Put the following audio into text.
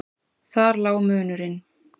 Þar lá munurinn.